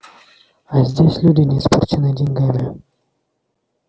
а здесь люди не испорченные деньгами